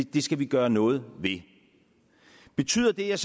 det skal vi gøre noget ved betyder det jeg